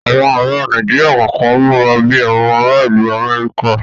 Àwọn ara Nàíjíríà kọ̀kan múra bi àwọn ara ìlú Amẹ́ríkà